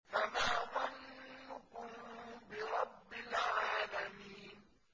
فَمَا ظَنُّكُم بِرَبِّ الْعَالَمِينَ